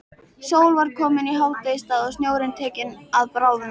Sól var komin í hádegisstað og snjórinn tekinn að bráðna.